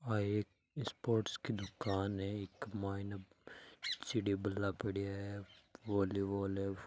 आ एक स्पोर्ट्स की दुकान है इक माइने चिड़ी बल्ला पड़ीया है वॉलीबॉल है फु --